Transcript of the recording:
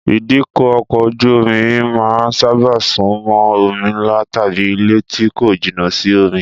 Ìdíkọ̀ ọkọ̀ ojú-omi máa ń sábà sún mọ́ omi ńlá tàbí ilẹ̀ tí kò jìnà sí omi